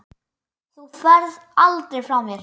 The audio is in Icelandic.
Þú ferð aldrei frá mér.